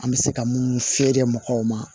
An bɛ se ka minnu feere mɔgɔw ma